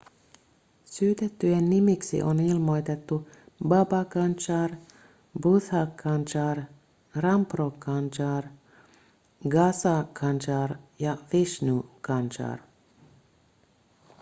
syytettyjen nimiksi on ilmoitettu baba kanjar bhutha kanjar rampro kanjar gaza kanjar ja vishnu kanjar